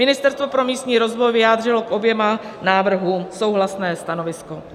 Ministerstvo pro místní rozvoj vyjádřilo k oběma návrhům souhlasné stanovisko.